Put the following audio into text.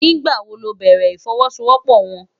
Nigbá wó lò bèrè ifòwòsówòpò wòn?